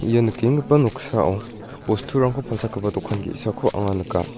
ia nikenggipa noksao bosturangko palchakgipa dokan ge·sako anga nika.